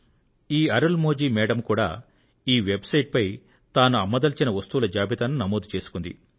ఈ అరుళ్ మొళి మేడమ్ కూడా ఈ వెబ్ సైట్ పై తాను అమ్మదలిచిన వస్తువుల జాబితాను నమోదు చేసుకున్నారు